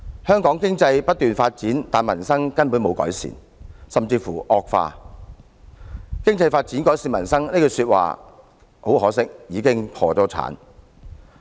香港經濟不斷發展，但民生根本沒有改善，甚至乎惡化，"發展經濟，改善民生"這句說話，很可惜已經破產。